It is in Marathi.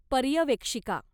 पर्यवेक्षिका